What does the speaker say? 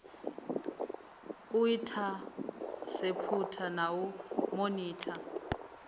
u inthaseputha na u monitha